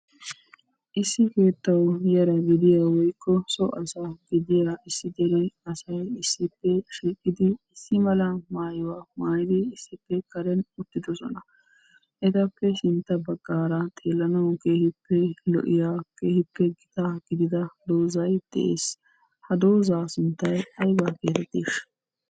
Issi keettawu yara gidiyaa woykko so asa gidiyaa issi dere asay issippw shiiqidi issi mala maayuwa maayidi issippe karen uttidosona. Etappe sintta baggaara xeelanawu kehiippe lo'iya keehiippe gitaa gidida dozay de'ees. Ha doozzaa sunttay aybaa geetettiishsha?